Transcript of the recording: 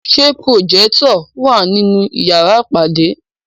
Ṣé pùròjẹ́tọ̀ wà nínú yàrá ìpàdé?